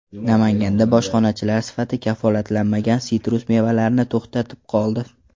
Namanganda bojxonachilar sifati kafolatlanmagan sitrus mevalarini to‘xtatib qoldi.